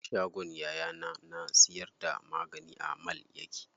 Shagon yayana na siyar da magani a mall yake.